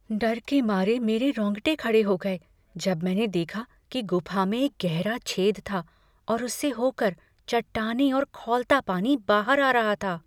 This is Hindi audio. डर के मारे मेरे रोंगटे खड़े हो गए जब मैंने देखा कि गुफा में एक गहरा छेद था और उससे होकर चट्टानें और खौलता पानी बाहर आ रहा था।